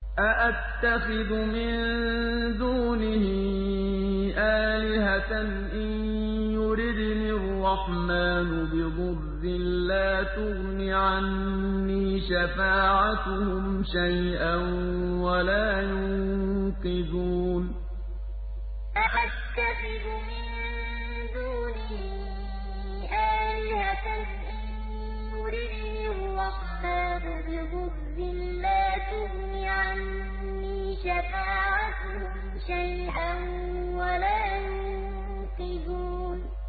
أَأَتَّخِذُ مِن دُونِهِ آلِهَةً إِن يُرِدْنِ الرَّحْمَٰنُ بِضُرٍّ لَّا تُغْنِ عَنِّي شَفَاعَتُهُمْ شَيْئًا وَلَا يُنقِذُونِ أَأَتَّخِذُ مِن دُونِهِ آلِهَةً إِن يُرِدْنِ الرَّحْمَٰنُ بِضُرٍّ لَّا تُغْنِ عَنِّي شَفَاعَتُهُمْ شَيْئًا وَلَا يُنقِذُونِ